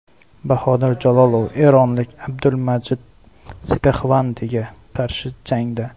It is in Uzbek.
Bahodir Jalolov eronlik Abdulmajid Sepaxvandiga qarshi jangda.